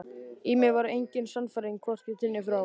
Í mér var engin sannfæring, hvorki til né frá.